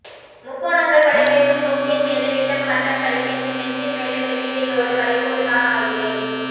முக்கோணங்கள் படிப்பேன் முன் மூக்கின் மேலே விட்டம் மட்டம் படிப்பேன் உன் நெஞ்சின் மேலே மெல்லிடையோடு வளைகோடு நான் ஆய்கிறேன்